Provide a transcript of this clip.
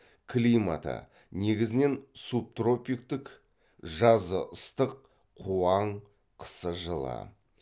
климаты негізінен субтропиктік жазы ыстық қуаң қысы жылы